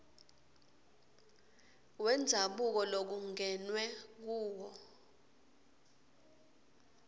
wendzabuko lokungenwe kuwo